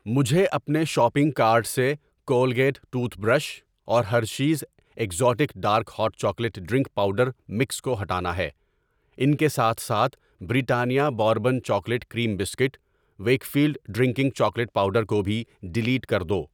مجھے اپنے shopping cart سے کولگیٹ ٹوتھ برش اور Hershey's exotic dark hot chocolate drink powder mix کو ہٹانا ہے۔ ان کے ساتھ ساتھ، Britannia bourbon chocolate cream biscuit, Wakefield drinking chocolate powder کو بھی ڈیلیٹ کر دو۔